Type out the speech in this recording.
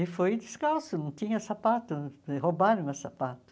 E foi descalço, não tinha sapato, roubaram meu sapato.